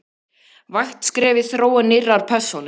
vægt skref í þróun nýrrar persónu.